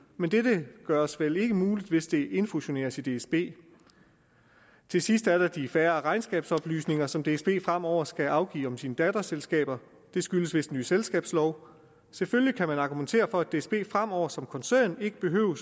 men dette gøres vel ikke muligt hvis det infusioneres i dsb til sidst er der de færre regnskabsoplysninger som dsb fremover skal afgive om sine datterselskaber det skyldes vist den nye selskabslov selvfølgelig kan man argumentere for at dsb fremover som koncern ikke behøver